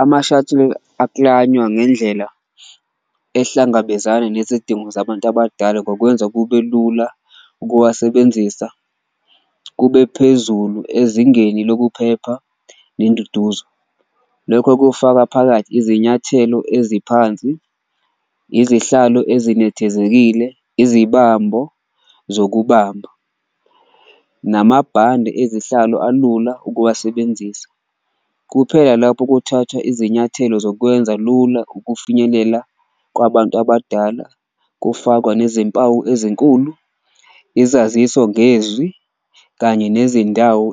Ama-shuttle aklanywa ngendlela ehlangabezana nezidingo zabantu abadala ngokwenza kube lula ukuwasebenzisa, kube phezulu ezingeni lokuphepha nenduduzo. Lokho kufaka phakathi izinyathelo eziphansi, izihlalo ezinethezekile, izibambo zokubamba namabhande ezihlalo alula ukuwasebenzisa, kuphela lapho kuthathwa izinyathelo zokwenza lula. Ukufinyelela kwabantu abadala, kufakwa nezimpawu ezinkulu, izaziso ngezwi, kanye nezindawo